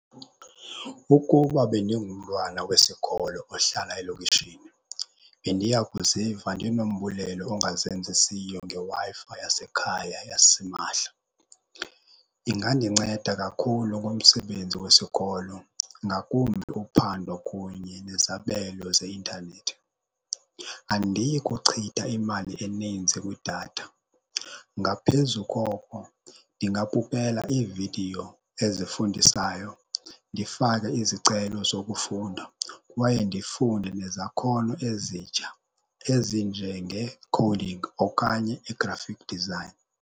Ukuba bendingumtwana wesikolo ohlala elokishini bendiya kuziva ndinombulelo ongazenzisiyo ngeW-Fi yasekhaya yasimahla. Ingandinceda kakhulu kumsebenzi wesikolo, ngakumbi uphando kunye nezabelo zeintanethi. Andiyi kuchitha imali eninzi kwidatha, ngaphezu koko ndingabukela iividiyo ezifundisayo, ndifake izicelo zokufunda kwaye ndifunde nezakhono ezitsha ezinjengeekhowudingi okanye i-graphic design.